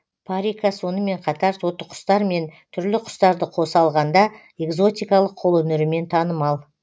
парика сонымен қатар тотықұстар мен түрлі құстарды қоса алғанда экзотикалық қолөнерімен танымал